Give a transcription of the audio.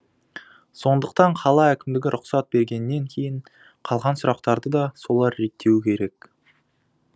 сондықтан қала әкімдігі рұқсат бергеннен кейін қалған сұрақтарды да солар реттеуі керек